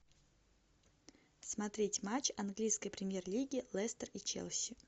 смотреть матч английской премьер лиги лестер и челси